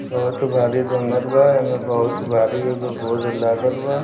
बहुत भारी जंगल बा एमें बहुत भारी एगो बोर्ड लागल बा।